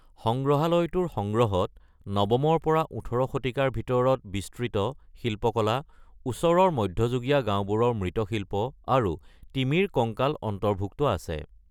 সংগ্ৰহালয়টোৰ সংগ্ৰহত ৯ম-ৰ পৰা ১৮ শতিকাৰ ভিতৰত বিস্তৃত শিল্পকলা, ওচৰৰ মধ্যযুগীয় গাওঁবোৰৰ মৃৎশিল্প আৰু তিমিৰ কংকাল অন্তৰ্ভুক্ত আছে।